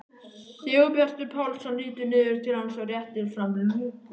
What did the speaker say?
Sigurbjartur Pálsson lítur niður til hans og réttir fram lúku.